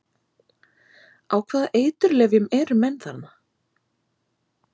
Á hvaða eiturlyfjum eru menn þarna?